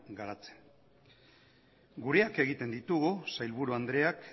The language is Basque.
garatzen gureak egiten ditugu sailburu andreak